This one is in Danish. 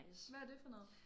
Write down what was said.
Hvad er det for noget